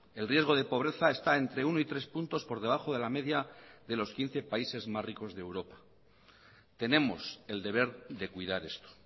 el riesgo de pobreza está entre uno y tres puntos por debajo de la media de los quince países más ricos de europa tenemos el deber de cuidar esto